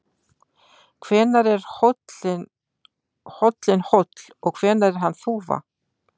Hvenær er hóllinn hóll og hvenær er hann þúfa?